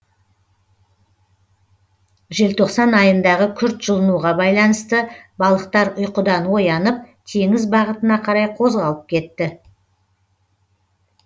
желтоқсан айындағы күрт жылынуға байланысты балықтар ұйқыдан оянып теңіз бағытына қарай қозғалып кетті